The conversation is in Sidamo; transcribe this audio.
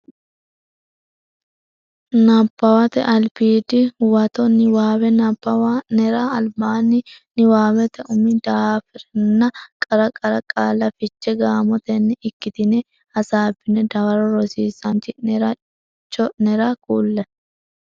Nabbawate Albiidi Huwato Niwaawe nabbawa nera albaanni niwaawete umi daafiranna qara qara qaalla fiche gaamotenni ikkitine hasaabbine dawaro rosiisaanchi nera cho nera kulle.